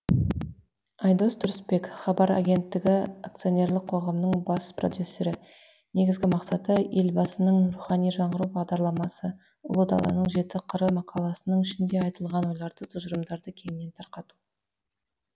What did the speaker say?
айдос тұрысбек хабар агенттігі акционерлік қоғамның бас продюсері негізгі мақсаты елбасының рухани жаңғыру бағдарламасы ұлы даланың жеті қыры мақаласының ішінде айтылған ойларды тұжырымдарды кеңінен тарқату